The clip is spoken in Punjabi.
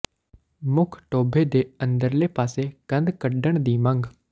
ਮੁੱਖ ਟੋਭੇ ਦੇ ਅੰਦਰਲੇ ਪਾਸੇ ਕੰਧ ਕੱਢਣ ਦੀ ਮੰਗ